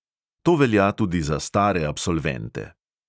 To velja tudi za stare absolvente.